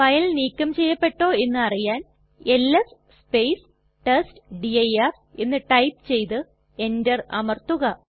file നീക്കം ചെയ്യപ്പെട്ടോ എന്നറിയാൻ എൽഎസ് ടെസ്റ്റ്ഡിർ എന്ന് ടൈപ്പ് ചെയ്തു എന്റർ അമർത്തുക